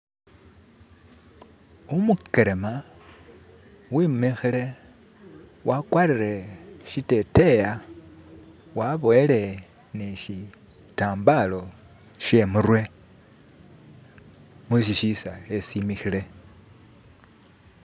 Umukelema wemikhile wakwarire siteteyi waboyele ne shitambala shemurwe mweshi sisakhe simikhile.